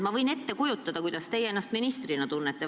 Ma võin ette kujutada, kuidas te ennast valitsuse istungil tunnete.